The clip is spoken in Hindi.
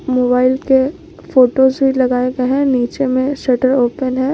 मोबाइल के फोटो से लगाए गए हैं नीचे में शटर ओपन है।